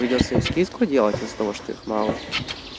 придётся им скидку делать из-за того что их мало